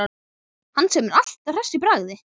Hann sem er alltaf hress í bragði.